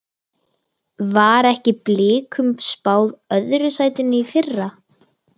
Var ekki Blikum spáð öðru sætinu í fyrra?